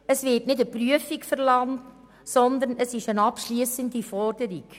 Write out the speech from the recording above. Es wird keine Prüfung verlangt, sondern es handelt sich um eine abschliessende Forderung.